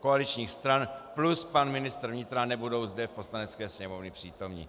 koaličních stran plus pan ministr vnitra nebudou zde v Poslanecké sněmovně přítomni.